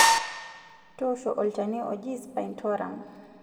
Toosho olchani oji spinetoram.